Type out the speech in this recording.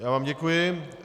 Já vám děkuji.